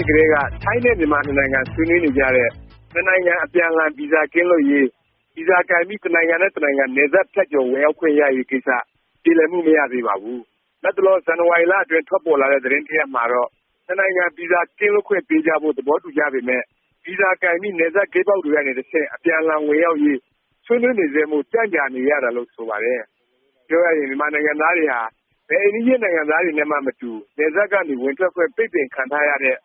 စ်ကတည်းက ထိုင်းနဲ့ မြန်မာနှစ်နိုင်ငံ ဆွေးနွေးနေကြတဲ့ နှစ်နိုင်ငံ အပြန်အလှန် ဗီဇာကင်းလွတ်ရေး၊ ဗီဇာကိုင်ပြီး တစ်နိုင်ငံနဲ့ တစ်နိုင်ငံ နယ်စပ်ဖြတ်ကျော် ဝင်ရောက်ခွင့်ရရေး ကိစ္စ ပြေလည်မှု မရသေးပါဘူး။ လတ်တလော ဇန်နဝါရီလအတွင်း ထွက်ပေါ်လာတဲ့ သတင်းတစ်ရပ်မှာတော့ နှစ်နိုင်ငံ ဗီဇာ ကင်းလွတ်ခွင့် ပေးကြဖို့ သဘောတူကြပေမယ့် ဗီဇာကိုင်ပြီး နယ်စပ်ဂိတ်ပေါက်တွေကနေ တဆင့် အပြန်အလှန်ဝင်ရောက်နိုင်ရေး ဆွေးနွေးနေဆဲမို့ ကြံ့ကြာနေရတာလို့ ဆိုပါတယ်။ ပြောရရင် မြန်မာနိုင်ငံသားတွေဟာ ဘယ်အိမ်နီးချင်း နိုင်ငံသားတွေနဲ့မှမတူ နယ်စပ်ကနေ ဝင်ထွက်ခွင့် ပိတ်ပင်ခံထားရတဲ့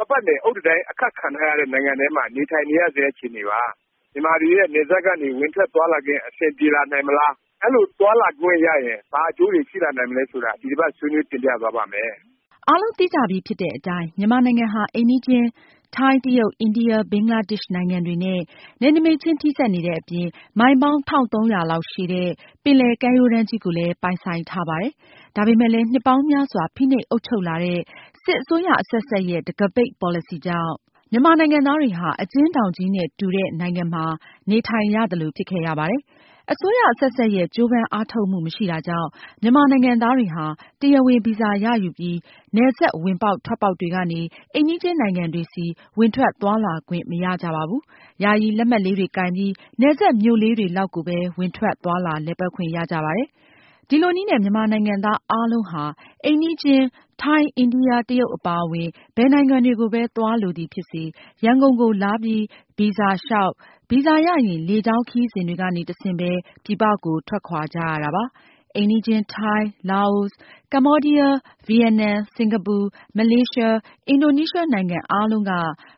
၊ ပတ်ပတ်လည် အုတ်တံတိုင်း အခတ်ခံထားရတဲ့ နိုင်ငံထဲမှာ နေထိုင်နေရဆဲ အခြေအနေပါ။ မြန်မာတွေရဲ့ နယ်စပ်ကနေ ဝင်ထွက်သွားလာခွင့် အဆင်ပြေလာနိုင်မလား၊ အဲလိုသွားလာခွင့်ရရင် ဘာအကျိုးတွေ ရှိလာနိုင်မလဲ ဆိုတာ ဒီတစ်ပါတ် ဆွေးနွေးတင်ပြသွားပါ့မယ်။ အားလုံးသိကြပြီးဖြစ်တဲ့ အတိုင်း မြန်မာနိုင်ငံဟာ အိမ်နီးချင်း ထိုင်း၊ လာအို၊ တရုတ်၊ အိန္ဒိယ၊ ဘင်္ဂလားဒေ့ရှ် နိုင်ငံတွေနဲ့ နယ်နိမိတ်ချင်း ထိစပ်နေတဲ့အပြင် မိုင်ပေါင်း ၁၃၀၀ လောက်ရှည်တဲ့ ပင်လယ်ကမ်းရိုးတန်းကြီးကိုလည်း ပိုင်ဆိုင်ထားပါတယ်။ ဒါပေမယ့်လည်း နှစ်ပေါင်းများစွာ ဖိနှိပ်အုပ်ချုပ်လာတဲ့ စစ်အစိုးရအဆက်ဆက်ရဲ့ တံခါးပိတ် ပေါ်လစီကြောင့် မြန်မာနိုင်ငံသားတွေဟာ အကျဉ်းထောင်ကြီးနဲ့ တူတဲ့ နိုင်ငံမှာ နေထိုင်ရသလို ဖြစ်ခဲ့ရပါတယ်။ အစိုးရ အဆက်ဆက်ရဲ့ ကြိုးပမ်းအားထုတ်ပေးမှု မရှိတာကြောင့် မြန်မာနိုင်ငံသားတွေဟာ တရားဝင် ဗီဇာ ရယူပြီး နယ်စပ် ဝင်ပေါက်ထွက်ပေါက်တွေကနေ အိမ်နီးချင်းနိုင်ငံတွေဆီ ဝင်ထွက်သွားလာခွင့် မရကြပါဘူး။ ယာယီ လက်မှတ်လေးတွေကိုင်ပြီး နယ်စပ်မြို့လေးတွေလောက်ကိုပဲ ဝင်ထွက်သွားလာ လည်ပါတ်ခွင့်ရကြပါတယ်။ ဒီလိုနည်းနဲ့ မြန်မာနိုင်ငံသားအားလုံးဟာ အိမ်နီးချင်း ထိုင်း၊ အိန္ဒိယ၊ တရုတ် အပါအဝင် ဘယ်နိုင်ငံတွေကိုပဲ သွားလိုသည်ဖြစ်စေ ရန်ကုန်ကို လာပြီးဗီဇာလျောက်၊ ဗီဇာရရင် လေကြောင်းခရီးစဉ်တွေကနေ တဆင့်ပဲ ပြည်ပကို ထွက်ခွာကြရတာပါ။ အိမ်နီးချင်း ထိုင်း၊ လာအို၊ ကမ္ဘောဒီးယား၊ ဗီယက်နမ်၊ စင်ကာပူ၊ မလေးရှား၊ အင်ဒိုနီးရှား နိုင်ငံအားလုံးက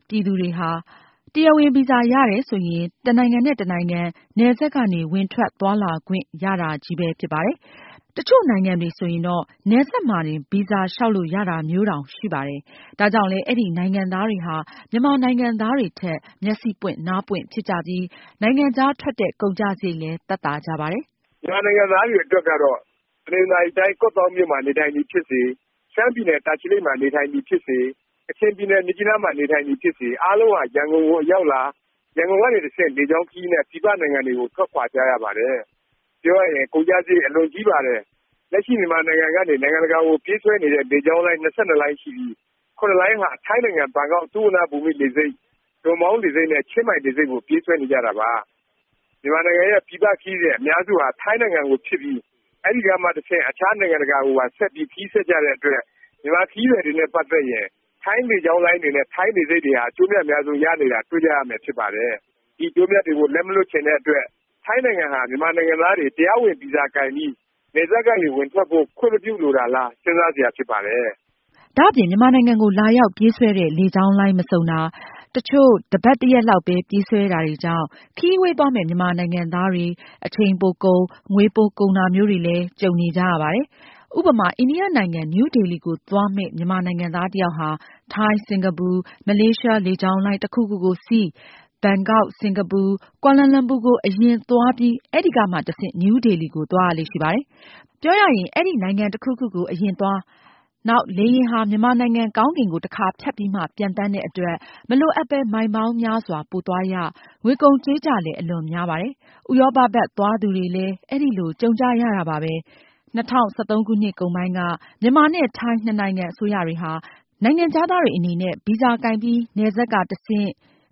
ပြည်သူတွေဟာ တရားဝင် ဗီဇာ ရတယ်ဆိုရင် တစ်နိုင်ငံနဲ့ တစ်နိုင်ငံ နယ်စပ်ကနေ ဝင်ထွက် သွားလာခွင့် ရကြတာချည်းဖြစ်ပါတယ်။ တစ်ချို့နိုင်ငံတွေဆိုရင်တော့ နယ်စပ်မှာတင် ဗီဇာ လျောက်လို့ရတာမျိုးတောင် ရှိပါတယ်။ ဒါကြောင့်လည်း အဲဒီ နိုင်ငံသားတွေဟာ မြန်မာနိုင်ငံသားတွေထက် မျက်စေ့ပွင့်နားပွင့် ဖြစ်ကြပြီး၊ နိုင်ငံခြား ထွက်တဲ့ ကုန်ကျစားရိတ်လည်း သက်သာကြပါတယ်။ မြန်မာနိုင်ငံသားတွေ အတွက်ကတော့ တနင်္သာရီတိုင်း ကော့သောင်းမြို့မှာ နေထိုင်သည်ဖြစ်စေ၊ ရှမ်းပြည်နယ် တာချီလိတ်မှာ နေထိုင်သည်ဖြစ်စေ၊ ကချင်ပြည်နယ် မြစ်ကြီးနားမှာ နေထိုင်သည်ဖြစ်စေ အားလုံးဟာ ရန်ကုန်ကို အရောက်လာ၊ ရန်ကုန်ကနေ တဆင့် လေကြောင်းခရီးနဲ့ ပြည်ပနိုင်ငံတွေကို ထွက်ခွာကြရပါတယ်။ ပြောရရင် ကုန်ကျစားရိတ် အလွန်ကြီးပါတယ်။ လက်ရှိ မြန်မာနိုင်ငံ ကနေ နိုင်ငံတကာကို ပြေးဆွဲနေတဲ့ လေကြောင်းလိုင်း ၂၂ လိုင်းရှိပြီး ၇ လိုင်းဟာ ထိုင်းနိုင်ငံ ဘန်ကောက် သုဝဏ္ဍဘုမ္မိ လေဆိပ်၊ ဒွန်မောင်းလေဆိပ် နဲ့ ချင်းမိုင် လေဆိပ်ကို ပြေးဆွဲကြတာပါ။ မြန်မာနိုင်ငံရဲ့ ပြည်ပ ခရီးစဉ် အများစုဟာ ထိုင်းနိုင်ငံကိုဖြစ်ပြီး အဲဒီကမှ တဆင့် အခြား နိုင်ငံတကာကိုပါ ဆက်ပြီး ခရီးဆက်ကြတဲ့အတွက် မြန်မာခရီးသည်တွေနဲ့ ပါတ်သက်ရင် ထိုင်းလေကြောင်းလိုင်းတွေနဲ့ ထိုင်းလေဆိပ်တွေဟာ အကျိုးအမြတ် အများဆုံး ရနေတာ တွေ့ကြရမယ် ဖြစ်ပါတယ်။ ဒီအကျိုးအမြတ်တွေကို လက်မလွှတ်ချင်တဲ့အတွက် ထိုင်းနိုင်ငံဟာ မြန်မာနိုင်ငံသားတွေ တရားဝင် ဗီဇာကိုင်ပြီး နယ်စပ်ကနေ ဝင်ထွက်ဖို့ ခွင့်မပြုလိုတာလား စဉ်းစားစရာ ဖြစ်ပါတယ်။ ဒါ့အပြင် မြန်မာနိုင်ငံကို လာရောက်ပြေးဆွဲတဲ့ လေကြောင်းလိုင်း မစုံတာ၊ တစ်ချို့ တစ်ပါတ် တစ်ရက်လောက်ပဲ ပြေးဆွဲတာတွေကြောင့် ခရီးဝေးသွားမယ့် မြန်မာနိုင်ငံသားတွေ အချိန်ပိုကုန်၊ ငွေပိုကုန်တာမျိုးတွေလည်း ကြုံနေကြရပါတယ်။ ဥပမာ အိန္ဒိယနိုင်ငံ နယူးဒေလီကိုသွားမယ့် မြန်မာနိုင်ငံသားတစ်ယောက်ဟာ ထိုင်း၊ စင်ကာပူ၊ မလေးရှား လေကြောင်းလိုင်း တစ်ခုခုကိုစီး၊ ဘန်ကောက်၊ စင်ကာပူ၊ ကွာလာလမ်ပူကို အရင်သွားပြီး အဲဒီကမှ တဆင့် နယူးဒေလီကို သွားရလေ့ရှိပါတယ်။ ပြောရရင် အဲဒီ နိုင်ငံတစ်ခုကိုကို အရင်သွား၊ နောက် လေယာဉ်ဟာ မြန်မာနိုင်ငံကောင်းကင်ကို တစ်ခါ ဖြတ်ပြီးမှ ပျံသန်းတဲ့ အတွက် မလိုအပ်ပဲ မိုင်ပေါင်းများစွာ ပိုသွားရ၊ ငွေကုန်ကြေးကျလည်း အလွန်များပါတယ်။ ဥရောပ ဘက် သွားသူတွေလည်း အဲလို ကြုံကြရတာတာပါပဲ။ ၂၀၁၃ ခု နှစ်ကုန်ပိုင်းက မြန်မာနဲ့ ထိုင်း နှစ်နိုင်ငံ အစိုးရတွေဟာ နိုင်ငံခြားသားတွေအနေနဲ့ ဗီဇာ ကိုင်ပြီး နယ်စပ်ကနေ တဆင့်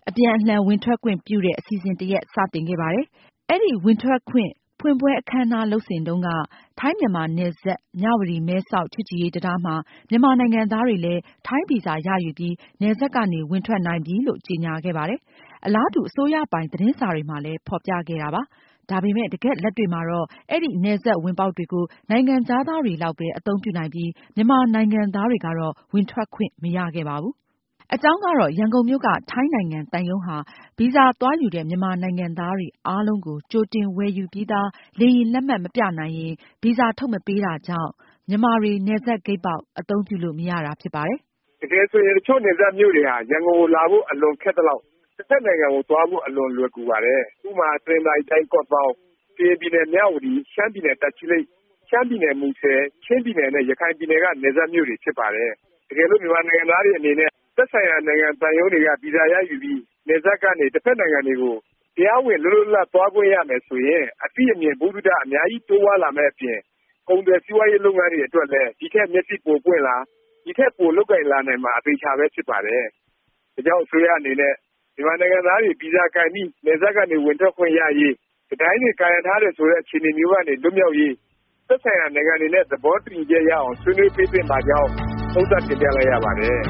အပြန်အလှန် ဝင်ထွက်ခွင့် ပြုတဲ့ အစီအစဉ် တစ်ရပ် စ တင်ခဲ့ပါတယ်။ အဲဒီ ဝင်ထွက်ခွင့် ဖွင့်ပွဲ အခန်းအနား လုပ်စဉ်တုန်းက ထိုင်း-မြန်မာနယ်စပ် မြဝတီ- မဲဆောက် ချစ်ကြည်ရေးတံတားမှာ မြန်မာနိုင်ငံသားတွေလည်း ထိုင်းဗီဇာ ရယူပြီး နယ်စပ်ကနေ ဝင်ထွက်နိုင်ပြီလို့ ကြေငြာခဲ့ပါတယ်။ အလားတူ အစိုးရပိုင် သတင်းစာတွေမှာလည်း ဖော်ပြခဲ့ပါတယ်။ ဒါပေမယ့် တကယ့်လက်တွေ့မှာတော့ အဲဒီ နယ်စပ်ဝင်ပေါက်တွေကို နိုင်ငံခြားသားတွေလောက်ပဲ အသုံးပြုနိုင်ပြီး မြန်မာနိုင်ငံသားတွေကတော့ ဝင်ထွက်ခွင့် မရခဲ့ပါဘူး။ အကြောင်းကတော့ ရန်ကုန်မြို့က ထိုင်းနိုင်ငံသံရုံးဟာ ဗီဇာ သွားယူတဲ့ မြန်မာနိုင်ငံသားတွေ အားလုံးကို ကြိုတင် ဝယ်ယူပြီးသား လေယာဉ်လက်မှတ် မပြနိုင်ရင် ဗီဇာ ထုတ်မပေးတာကြောင့် မြန်မာတွေ နယ်စပ်ဂိတ်ပေါက် အသုံးပြုလို့ မရတာ ဖြစ်ပါတယ်။ တကယ်ဆိုရင် တစ်ချို့နယ်စပ်မြို့တွေဟာ ရန်ကုန်ကိုလာဖို့ အလွန်ခက်သလောက် တစ်ဖက်နိုင်ငံကို သွားဖို့ အလွန်လွယ်ကူပါတယ်။ ဥပမာ တနင်္သာရီတိုင်း ကော့သောင်း၊ ကရင်ပြည်နယ် မြဝတီ၊ ရှမ်းပြည်နယ် တာချီလိတ်၊ ရှမ်းပြည်နယ် မူဆယ်၊ ချင်းပြည်နယ်နဲ့ ရခိုင်ပြည်နယ်က နယ်စပ်မြို့တွေ ဖြစ်ပါတယ်။ တကယ်လို့ မြန်မာနိုင်ငံသားတွေ အနေနဲ့ သက်ဆိုင်ရာ နိုင်ငံ သံရုံးတွေက ဗီဇာ ရယူပြီး နယ်စပ်ကနေ တစ်ဖက်နိုင်ငံတွေကို တရားဝင် လွတ်လွတ်လပ်လပ် သွားခွင့်ရမယ် ဆိုရင် အသိအမြင် ဗဟုသုတ အများကြီး တိုးပွားလာမယ့် အပြင် ကုန်သွယ်စီးပွားရေး လုပ်ငန်းတွေအတွက်လည်း ဒီထက် မျက်စေ့ပိုပွင့်လာ၊ ဒီထက် ပိုလုပ်ကိုင်လာနိုင်မှာ အသေအခြာပဲ ဖြစ်ပါတယ်။ ဒါကြောင့် အစိုးရအနေနဲ့ မြန်မာနိုင်ငံသားတွေ ဗီဇာကိုင်ပြီး နယ်စပ်ကနေ ဝင်ထွက်ခွင့်ရရေး၊ တံတိုင်းတွေ ကာရံထားတယ် ဆိုတဲ့ အခြေအနေမျိုးကနေ လွတ်မြောက်ရေး သက်ဆိုင်ရာ နိုင်ငံတွေနဲ့ သဘောတူညီချက်ရအောင် ဆွေးနွေးပေးသင့်ပါကြောင်း သုံးသပ်တင်ပြလိုက်ရပါတယ်။